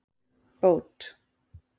Bót